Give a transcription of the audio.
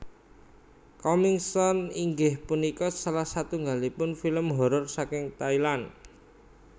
Coming Soon inggih punika salah satunggalipun film horor saking Thailand